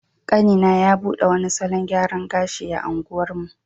Kanina ya bude wani salon gyaran gashi a unguwarmu.